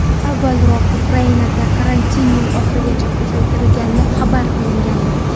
Avvalroq Ukrainada karantin yil oxirigacha uzaytirilgani xabar qilingandi .